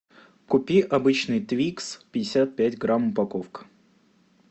купи обычный твикс пятьдесят пять грамм упаковка